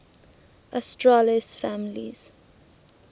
asterales families